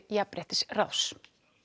Jafnréttisráðs